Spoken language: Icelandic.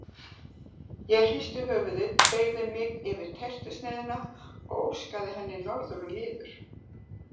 Ég hristi höfuðið beygði mig yfir tertusneiðina og óskaði henni norður og niður.